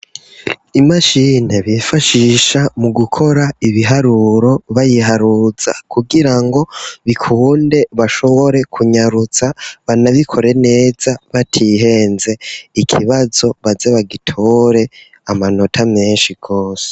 Imashine bifashisha mu gukora ibiharuro bayiharuza kugira ngo bikunde bashobore kunyarutsa banabikore neza batihenze, ikibazo baze bagitore amanota menshi gose.